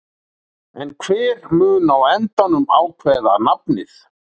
En hver mun á endanum ákveða nafnið?